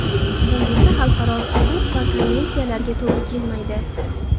Bu esa xalqaro huquq va konvensiyalarga to‘g‘ri kelmaydi.